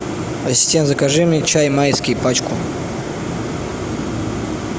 ассистент закажи мне чай майский пачку